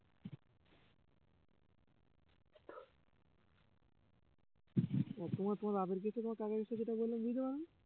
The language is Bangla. তো~ তোমার বাপের case টা তোমার কাকার case টা যেটা বললাম বুঝতে পারোনি